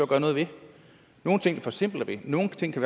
gøre noget ved nogle ting forsimpler vi nogle ting kan